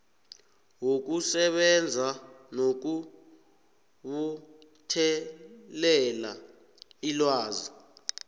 wokusebenza nokubuthelela ilwazi